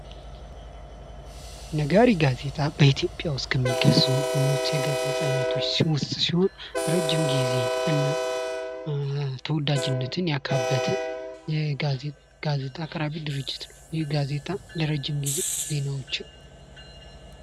ነጋሪት ጋዜጣ በኢትዮጵያ ውስጥ ከሚገዙ ንውስ የጋዜጣ አይነት ሲሆን እረጅም ጊዜና ተወዳጅነትን ያካበተ ጋዜጣ አቅራቢ ድርጅት ነው። ይህ ጋዜጣ ለረጅም ጊዜ ዜናዎችን